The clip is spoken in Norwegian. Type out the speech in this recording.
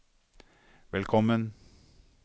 velkommen